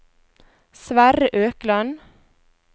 Sverre Økland